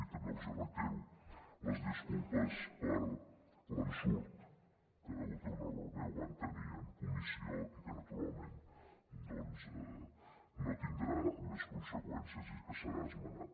i també els reitero les disculpes per l’ensurt que degut a un error meu van tenir en comissió i que naturalment doncs no tindrà més conseqüències i que serà esmenat